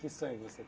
Que sonho você